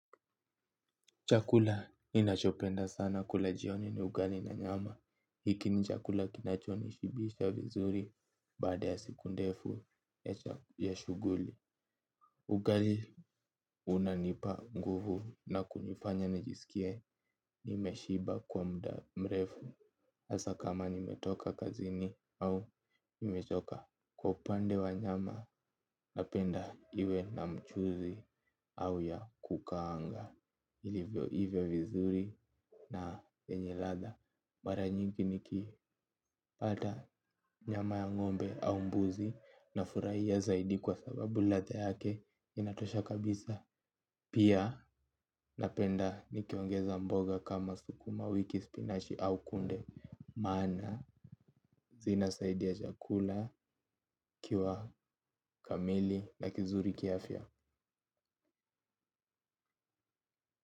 Chakula ninachopenda sana kula jioni ni ugali na nyama hiki ni chakula kinachoni shibisha vizuri baada ya siku ndefu ya shuguli. Ugali unanipa nguvu na kunifanya nijisikie nimeshiba kwa mda mrefu. Asa kama nimetoka kazini au nimetoka kwa upande wa nyama napenda iwe na mchuzi au ya kukawanga hivyo ive vizuri. Na yenye latha maranyingi nikipata nyama ya ngombe au mbuzi nafuraia zaidi kwa sababu latha yake inatosha kabisa. Pia napenda nikiongeza mboga kama sukuma wiki spinashi au kunde. Mana zina saidiya chakula kiwa kamili na kizuri kiafya.